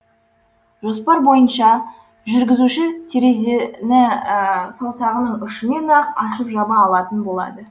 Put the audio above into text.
жоспар бойынша жүргізуші терезені саусағының ұшымен ақ ашып жаба алатын болады